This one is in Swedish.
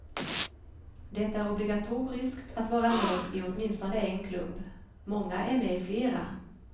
Det är obligatoriskt att vara med i åtminstone en klubb, många är med i flera.